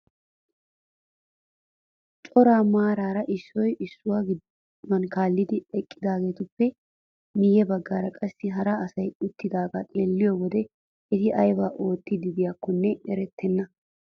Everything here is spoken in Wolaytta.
Cora maarara issoy issuwaa geduwaa kaallidi eqqidaagetuppe miye baggaara qassi hara asay uttidagaa xeelliyoo wode eti aybaa oottiidi de'iyakonne erettenna!